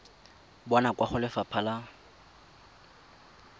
bonwa kwa go lefapha la